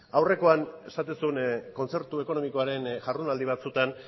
aurrekoan esaten zuen kontzertu ekonomikoaren jardunaldi batzutan